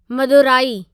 Madurai